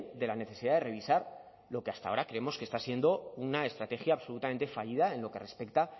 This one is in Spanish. de la necesidad de revisar lo que hasta ahora creemos que está siendo una estrategia absolutamente fallida en lo que respecta